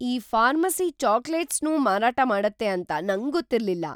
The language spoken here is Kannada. ಈ ಫಾರ್ಮಸಿ ಚಾಕ್ಲೇಟ್ಸ್‌ನೂ ಮಾರಾಟ ಮಾಡತ್ತೆ ಅಂತ ನಂಗೊತ್ತಿರ್ಲಿಲ್ಲ!